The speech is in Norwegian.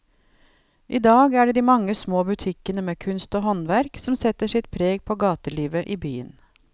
I dag er det de mange små butikkene med kunst og håndverk som setter sitt preg på gatelivet i byen.